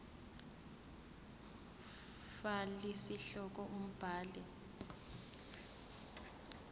fal isihloko umbhali